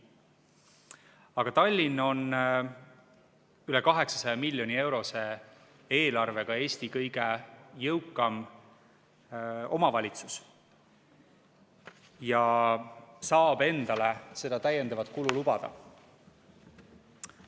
Aga Tallinn on üle 800 miljoni eurose eelarvega Eesti kõige jõukam omavalitsus ja saab endale seda täiendavat kulu lubada.